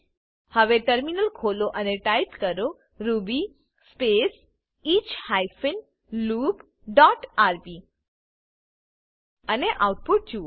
હવે ટર્મિનલ ખોલો અને ટાઈપ કરો Ruby space each hyphen loop dot RB અને આઉટપુટ જુઓ